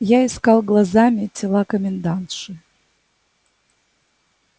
я искал глазами тела комендантши